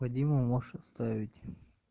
вадиму можешь оставить